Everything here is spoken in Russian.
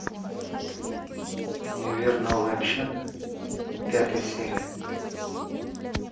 универ новая общага пятая серия